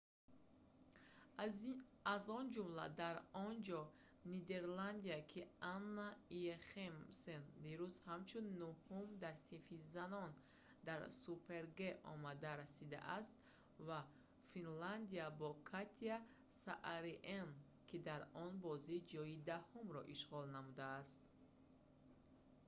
аз он ҷумла дар онҷо нидерландия ки анна йохемсен дирӯз ҳамчун нӯҳум дар синфи занон дар супер-г омада расидааст ва финляндия бо катя сааринен ки дар он бозӣ ҷойи даҳумро ишғол намудааст